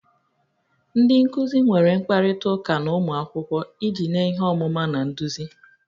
Ndị nkuzi nwere mkparịta ụka na ụmụ akwụkwọ iji nye ihe ọmụma na nduzi